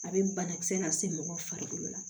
A bɛ banakisɛ lase mɔgɔ farikolo ma